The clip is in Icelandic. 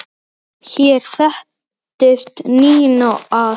Hér settist Ninna að.